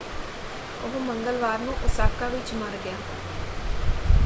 ਉਹ ਮੰਗਲਵਾਰ ਨੂੰ ਓਸਾਕਾ ਵਿੱਚ ਮਰ ਗਿਆ।